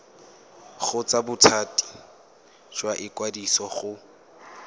kgotsa bothati jwa ikwadiso go